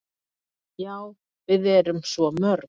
"""Já, við erum svo mörg."""